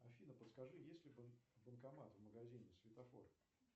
афина подскажи есть ли банкомат в магазине светофор